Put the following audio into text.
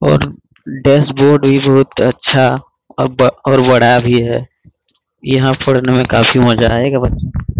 और dashboard बहुत अच्छा अब और बड़ा भी है यहाँ पढ़ने में काफी मजा आयेगा --